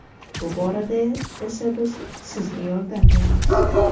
Bu borada esa biz sizga yordam beramiz.